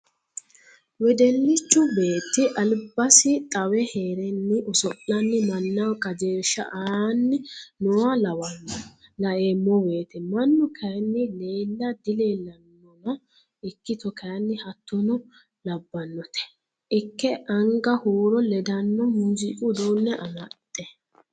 Wedellichu beetti albasi xawe heerenni oso'lanni mannaho qajeelsha aani nooha lawano laeemmo woyte mannu kayinni leella dileellanonna ikkitto kayinni hattotta labbanote ikke anga huuro ledano muziiqu uduune amaxe.